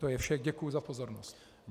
To je vše, děkuji za pozornost.